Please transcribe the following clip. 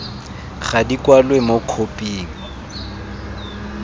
ga di kwalwe mo khophing